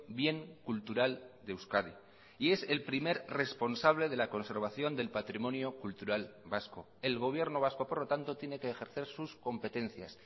bien cultural de euskadi y es el primer responsable de la conservación del patrimonio cultural vasco el gobierno vasco por lo tanto tiene que ejercer sus competencias